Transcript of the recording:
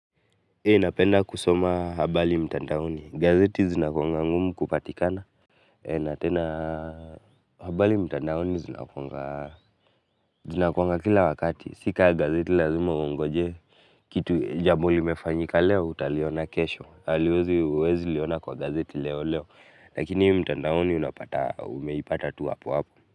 Hii napenda kusoma habari mtandaoni gazeti zinakuanga ngumu kupatikana na tena habari mtandaoni zinakuanga kila wakati. Si ka gazeti lazima uongoje. Kitu jambo limefanyika leo utaliona kesho. Haliwezi huwezi liona kwa gazeti leo leo. Lakini mtandaoni unapata umeipata tu hapo hapo.